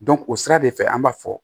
o sira de fɛ an b'a fɔ